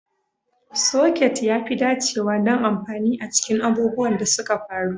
Soket ya fi dacewa don amfani a cikin abubuwan da suka faru.